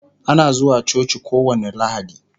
Ana zuwa coci kowani lahadi